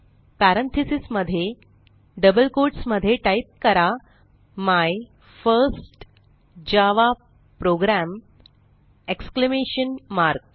parentheses मध्ये double quotes मध्ये type करा my first Java program exclamation mark